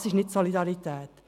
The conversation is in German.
Das ist nicht Solidarität.